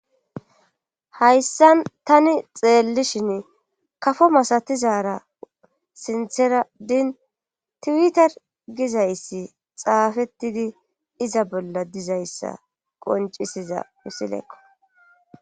hayssa tani xeellishin kafo masatizara sintheradin tiwitar gizayssi xaafettidi iza bolla dizayssa qoncisiza misilekko